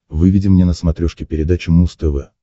выведи мне на смотрешке передачу муз тв